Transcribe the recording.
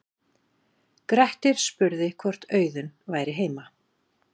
grettir spurði hvort auðunn væri heima